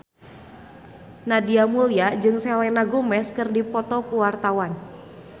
Nadia Mulya jeung Selena Gomez keur dipoto ku wartawan